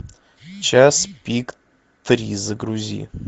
час пик три загрузи